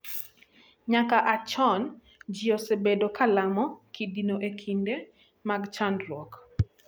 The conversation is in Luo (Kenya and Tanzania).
Nyaka a chon, ji osebedo ka lamo kidino e kinde mag chandruok.